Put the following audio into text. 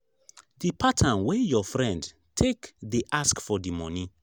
the pattern wey your friend take dey ask for di money